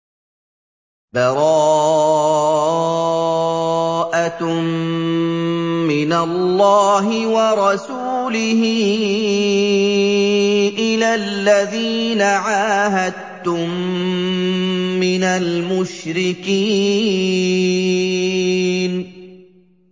بَرَاءَةٌ مِّنَ اللَّهِ وَرَسُولِهِ إِلَى الَّذِينَ عَاهَدتُّم مِّنَ الْمُشْرِكِينَ